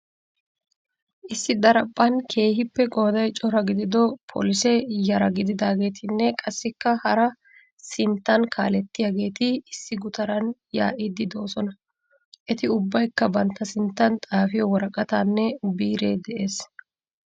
Issi daraphphan keehiippe qooday cora gidido polise yara gidiyaageettinne qassikka hara sinttan kaalettiyaageeti issi gutaran yaa'iidi doosona. Eti ubbaykka bantta sinttan xaafiyo woraqataanne biiree de'"ees.